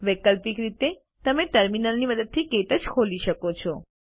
વૈકલ્પિક રીતે તમે ટર્મિનલની મદદથી ક્ટચ ખોલી શકો છો